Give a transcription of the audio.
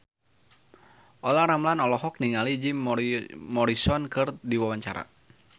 Olla Ramlan olohok ningali Jim Morrison keur diwawancara